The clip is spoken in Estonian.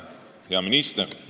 Hea minister!